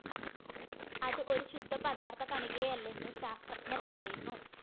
അത് ഒരു ശുദ്ധ പദാര്‍ത്ഥ കണികയല്ലെന്ന് ശാസ്ത്രജ്ഞര്‍ പറയുന്നു